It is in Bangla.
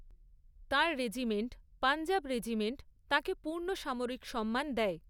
তাঁর রেজিমেন্ট, পঞ্জাব রেজিমেন্ট তাঁকে পূর্ণ সামরিক সম্মান দেয়।